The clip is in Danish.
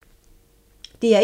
DR1